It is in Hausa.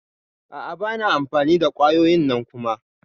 A'a bana amfani da kwayoyin nan Kuma.